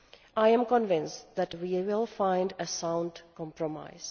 I am convinced that we will find a sound compromise.